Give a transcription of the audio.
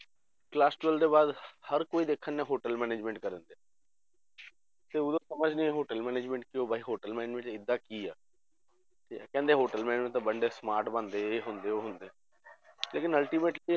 Class twelve ਦੇ ਬਾਅਦ ਹਰ ਕੋਈ ਦੇਖਣ ਡਿਆ hotel management ਕਰਨ ਡਿਆ ਤੇ ਉਦੋਂ ਸਮਝ ਨੀ hotel management ਕੀ hotel management 'ਚ ਇਹ ਜਿਹਾ ਕੀ ਆ, ਤੇ ਕਹਿੰਦੇ hotel management ਤਾਂ ਬੰਦੇ smart ਬਣਦੇ ਇਹ ਹੁੰਦੇ ਉਹ ਹੁੰਦੇ ਲੇਕਿੰਨ ultimately